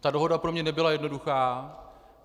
Ta dohoda pro mě nebyla jednoduchá.